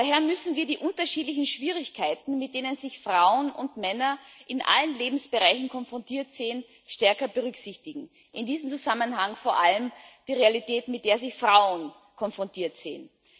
Daher müssen wir die unterschiedlichen Schwierigkeiten, mit denen sich Frauen und Männer in allen Lebensbereichen konfrontiert sehen, stärker berücksichtigen in diesem Zusammenhang vor allem die Realität, mit der sich Frauen konfrontiert sehen.